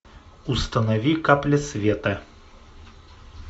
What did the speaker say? установи капля света